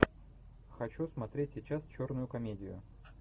хочу смотреть сейчас черную комедию